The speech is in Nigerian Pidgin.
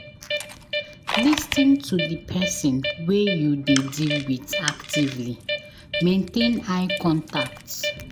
Lis ten to the person wey you dey deal with actively, maintain eye contact